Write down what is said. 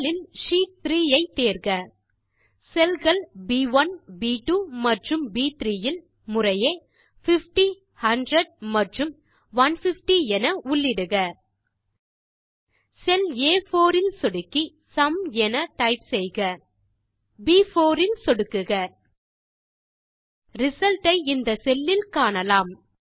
முதலில் ஷீட் 3 ஐ தேர்க செல்ஸ் கள் ப்1 ப்2 மற்றும் ப்3 இல் முறையே 50100 மற்றும் 150 என உள்ளிடுக செல் ஆ4 இல் சொடுக்கி சும் என டைப் செய்க ப்4 இல் சொடுக்குக ரிசல்ட் ஐ இந்த செல் இல் காணலாம்